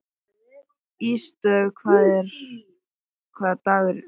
Ísdögg, hvaða dagur er í dag?